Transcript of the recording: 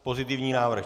Pozitivní návrh.